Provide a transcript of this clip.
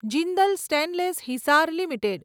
Jindal stainless Hisar limited